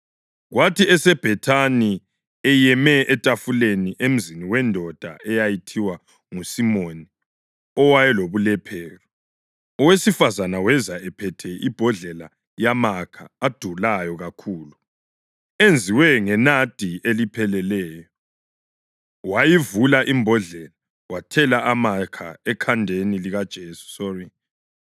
Kwathi eseBhethani eyeme etafuleni emzini wendoda eyayithiwa nguSimoni owayelobulephero, owesifazane weza ephethe imbodlela yamakha adulayo kakhulu, enziwe ngenadi elipheleleyo. Wayivula imbodlela wathela amakha ekhanda likaJesu.